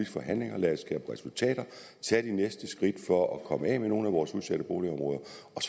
forhandlinger lad os skabe resultater tage de næste skridt for at komme af med nogle af vores udsatte boligområder